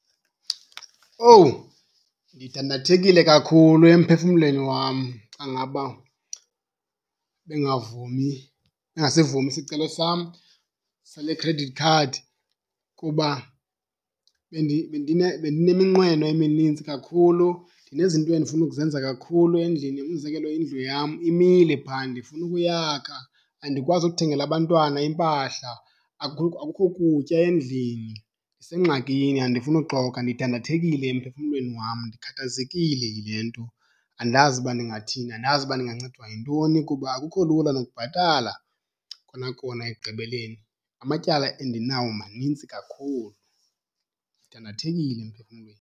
Owu, ndidandathekile kakhulu emphefumlweni wam xa ngaba bengavumi, ingasivumi isicelo sam sale khredithi khadi kuba bendineminqweno eminintsi kakhulu, ndinezinto endifuna ukuzenza kakhulu endlini. Umzekelo, indlu yam imile phaa ndifuna ukuyakha, andikwazi ukuthengela abantwana iimpahla, akukho kutya endlini. Ndisengxakini, andifuni uxoka ndidandathekile emphefumlweni wam, ndikhathazekile yile nto. Andazi uba ndingathini, andazi uba ndingancedwa yintoni. Kuba akukho lula nokubhatala kona kona ekugqibeleni, amatyala endinawo manintsi kakhulu. Ndidandathekile emphefumlweni.